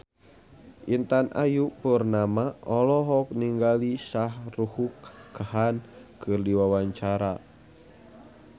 Intan Ayu Purnama olohok ningali Shah Rukh Khan keur diwawancara